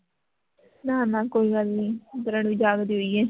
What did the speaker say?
ਨਾ ਨਾ ਕੋਈ ਗੱਲ ਨਹੀਂ ਕਿਰਨ ਵੀ ਜਾਗਦੀ ਪਈ ਹੈ